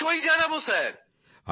অবশ্যই জানাব স্যার